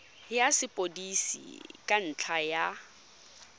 ya sepodisi ka ntlha ya